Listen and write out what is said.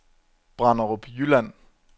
Branderup Jylland